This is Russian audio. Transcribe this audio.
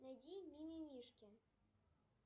найди мимимишки